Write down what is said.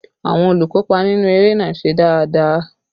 Àwọn olùkópa inú eré náà ṣe dáadáa